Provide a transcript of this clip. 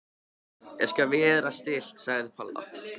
Ég skal vera stillt sagði Palla.